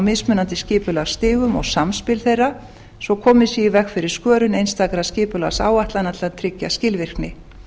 mismunandi skipulagsstigum og samspil þeirra svo komið sé í veg fyrir skörun einstakra skipulagsáætlana til að tryggja skilvirkni